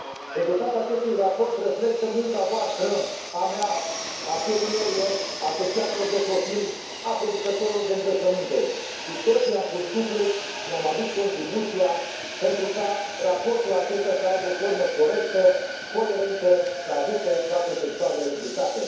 Rezultatul acestui raport reflectă munca voastră, a mea, a fermierilor, a asociațiilor de profil, a producătorilor de îngrășăminte. Cu toții am pus suflet și ne am adus contribuția, pentru ca raportul acestea să aibă o formă corectă, coerentă și să ajute toate sectoarele implicate.